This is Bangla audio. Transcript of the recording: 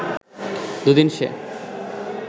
দু’দিন সে